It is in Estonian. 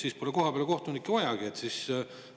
Kas siis kohapeal polegi kohtunikke vaja?